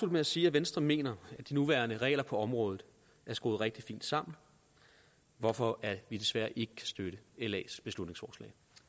med at sige at venstre mener at de nuværende regler på området er skruet rigtig fint sammen hvorfor vi desværre ikke kan støtte las beslutningsforslag